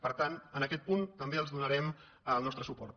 per tant en aquest punt també els donarem el nostre suport